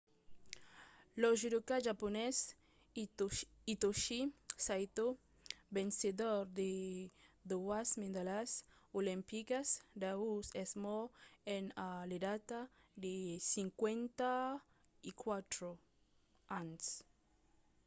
lo judoka japonés hitoshi saito vencedor de doas medalhas olimpicas d'aur es mòrt a l'edat de 54 ans